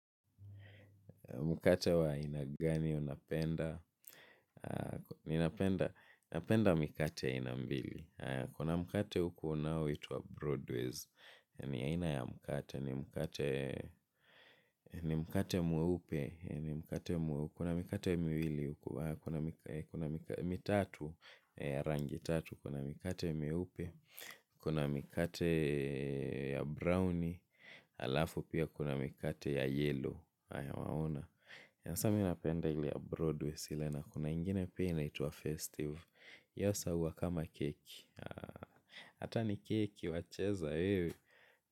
Mkate wa aina gani unapenda? Napenda mikate ya aina mbili. Kuna mkate huku unaoitwa broadways. Ni aina ya mkate. Ni mkate mweupe. Kuna mikate miwili. Kuna mikate miwili. Kuna mikate miwili. Mitatu. Ya rangi tatu. Kuna mikate miepu. Kuna mikate ya brown. Alafu pia kuna mikate ya yellow. Haya waona. Basa mimi napenda ile ya Broadway ile na kuna ingine pia inaitwa festive hasa huwa kama keki hata ni keki wacheza wewe.